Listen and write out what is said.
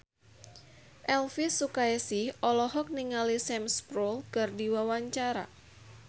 Elvi Sukaesih olohok ningali Sam Spruell keur diwawancara